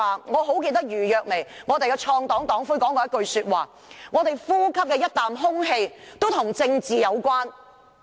我記得公民黨創黨黨魁余若薇說過：我們呼吸的每一口空氣都與政治有關。